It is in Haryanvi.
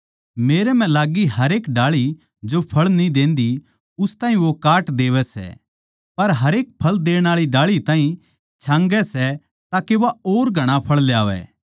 मेरे मै लाग्गी हरेक डाळी जो फळ न्ही देन्दी उस ताहीं वो काट देवै सै पर हरेक एक फळ देण आळी डाळी ताहीं छांगै सै के वा और घणा फळ ल्यावै